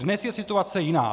Dnes je situace jiná.